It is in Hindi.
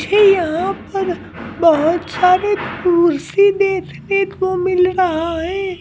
मुझे यहाँ पर बहुत सारे कुर्सी देखने को मिल रहा है।